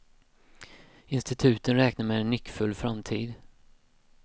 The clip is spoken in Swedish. Instituten räknar med en nyckfull framtid.